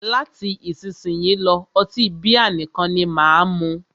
Láti isísìnyí lọ́, ọtí bíà nìkan ni máà mú.